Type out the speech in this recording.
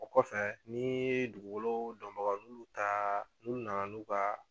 O kɔfɛ ni ye dugukolo dɔn bagaw n'u ta n'u na na n'u ka